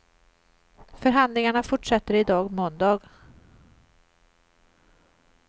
Förhandlingarna fortsätter i dag, måndag.